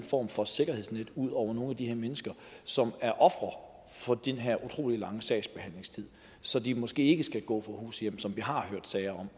form for sikkerhedsnet ud under nogle af de her mennesker som er ofre for den her utrolig lange sagsbehandlingstid så de måske ikke skal gå fra hus og hjem som vi har hørt sager